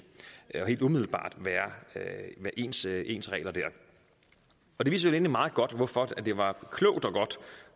og helt umiddelbart være ens ens regler dér og det viser vel egentlig meget godt hvorfor det var klogt